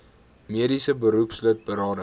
mediese beroepslid berading